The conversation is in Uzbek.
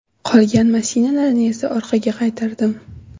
Qolgan mashinalarni esa orqaga qaytardim.